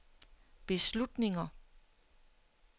beslutninger